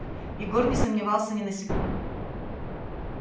егор не сомневался ни на секунду